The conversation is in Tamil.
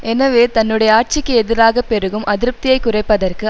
எனவே தன்னுடைய ஆட்சிக்கு எதிராக பெருகும் அதிருப்தியை குறைப்பதற்கு